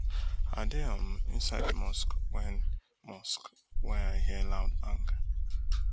i dey um inside di mosque wen mosque wen i hear loud bang